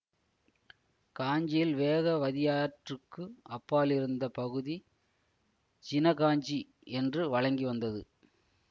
காஞ்சியில் வேகவதியாற்றுக்கு அப்பாலிருந்த பகுதி ஜின காஞ்சி என்று வழங்கி வந்தது